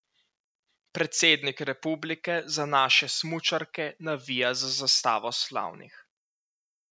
Predsednik republike za naše smučarke navija z Zastavo slavnih.